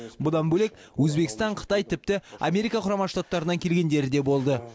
бұдан бөлек өзбекстан қытай тіпті америка құрама штаттарынан келгендері де болды